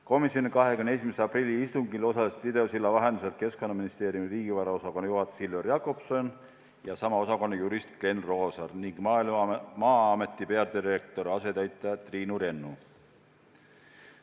Komisjoni 21. aprilli istungil osalesid videosilla vahendusel Keskkonnaministeeriumi riigivaraosakonna juhataja Silver Jakobson ja sama osakonna jurist Glen Roosaar ning Maa-ameti peadirektori asetäitja Triinu Rennu.